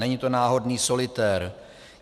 Není to náhodný solitér.